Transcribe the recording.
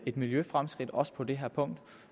et miljøfremskridt også på det her punkt